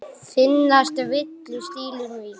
Finnast villur stílum í.